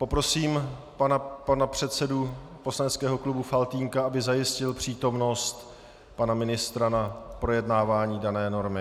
Poprosím pana předsedu poslaneckého klubu Faltýnka, aby zajistil přítomnost pana ministra na projednávání dané normy.